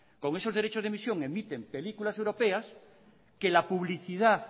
con esos derechos de emisión emiten películas europeas que la publicidad